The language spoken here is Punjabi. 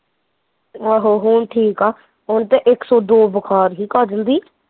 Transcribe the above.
ਆਹੋ ਹੁਣ ਠੀਕ ਆ ਓਹਨੂੰ ਤੇ ਇੱਕ ਸੋ ਦੋ ਬੁਖਾਰ ਸੀ ਕਾਜਲ ਦੀ